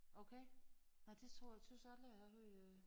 Okay nåh det tror tøs aldrig jeg har hørt øh